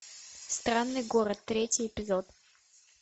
странный город третий эпизод